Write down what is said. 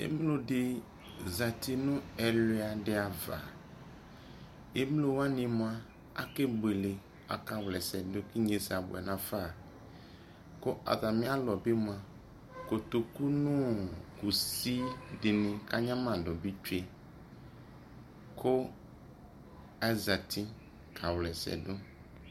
ɛmlɔ di zati nʋ ɛlʋa di aɣa, ɛmlɔ wani mʋa akɛ bʋɛlɛ kʋ aka wlɛsɛ dʋ, inyɛsɛ abʋɛ nʋ aƒa kʋ atami alʋ bi mʋa kɔtɔkʋ nʋ kʋsʋkʋanyama dʋ bi twɛ kʋ azati ka wlɛsɛ dʋ